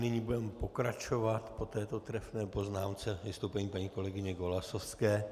Nyní budeme pokračovat po této trefné poznámce vystoupením paní kolegyně Golasowské.